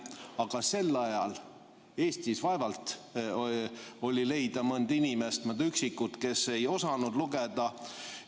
Aga sel ajal võis Eestis vaevalt leida mõnd sellist inimest, olid üksikud, kes ei osanud lugeda.